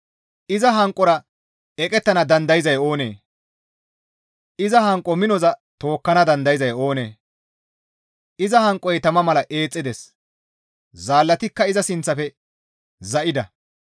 Iza hanqora eqettana dandayzay oonee? iza hanqo minoza tookkana dandayzay oonee? Iza hanqoy tama mala eexxides; zaallatikka iza sinththafe za7ida.